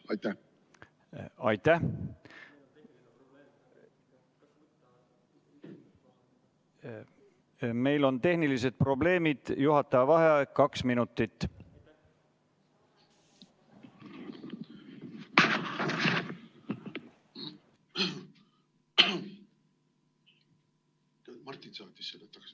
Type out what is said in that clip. Aitäh!